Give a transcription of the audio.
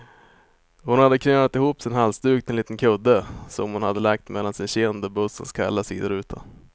Hon hade knölat ihop sin halsduk till en liten kudde, som hon hade lagt mellan sin kind och bussens kalla sidoruta.